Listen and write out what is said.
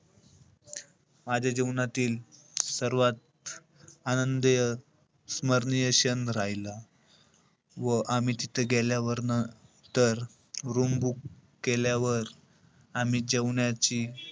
माझ्या जीवनातील सर्वात आनंदीय, स्मरणीय क्षण राहीला. व आम्ही तिथे गेल्यावर नं~ तर room book केल्यावर, आम्ही जेवणाची,